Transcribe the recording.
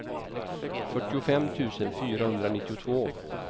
fyrtiofem tusen fyrahundranittiotvå